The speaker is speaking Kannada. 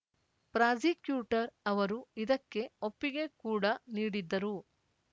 ಪ್ರಾಸಿಕ್ಯೂಟರ್‌ ಅವರು ಇದಕ್ಕೆ ಒಪ್ಪಿಗೆ ಕೂಡ ನೀಡಿದ್ದರು